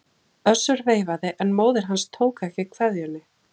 Össur veifaði en móðir hans tók ekki kveðjunni.